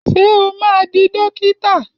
Ṣé o máa di dókítà?